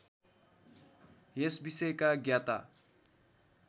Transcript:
यस विषयका ज्ञाता